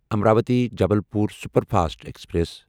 Amravati Jabalpur superfast express